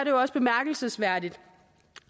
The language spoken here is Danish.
jo også bemærkelsesværdigt